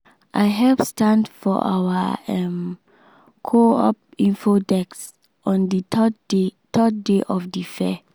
i help stand for our um co-op info desk on the third day third day of the fair.